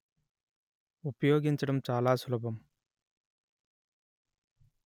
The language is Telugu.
ఉపయోగించడం చాలా సులభం